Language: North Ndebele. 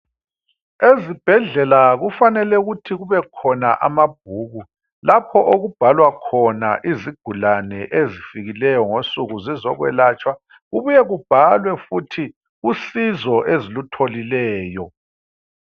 Ezibhedlela kufanele ukuthi kube khona amabhuku lapho okubhalwa khona izigulane zifikileyo ngosuku zizoyelatshwa kubuye kubhalwe futhi usizo ezilutholileyo.